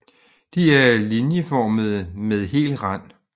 De er linieformede med hel rand